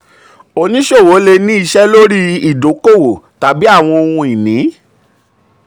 um oníṣòwò le ní iṣẹ́ lórí ìdókòwò tàbí àwọn ohun-ini.